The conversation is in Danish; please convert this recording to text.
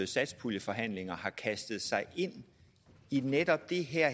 satspuljeforhandlinger har kastet sig ind i netop det her